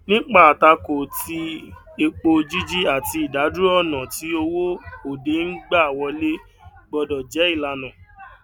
nípa àtakò ti epo jíjí àti ìdádúró ọnà tí owó òde ń gbà wọlé gbọdọ jẹ ìlànà